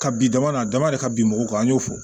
Ka bi dama dama a dama de ka bin mɔgɔw kan an y'o fɔ